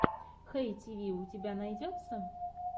хэй тиви у тебя найдется